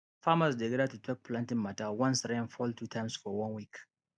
farmers dey gather to talk planting matter once rain fall two times for one week